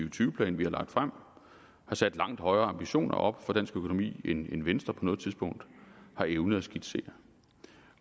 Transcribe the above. og tyve plan vi har lagt frem har sat langt højere ambitioner op for dansk økonomi end venstre på noget tidspunkt har evnet at skitsere